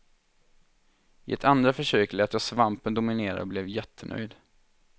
I ett andra försök lät jag svampen dominera och blev jättenöjd.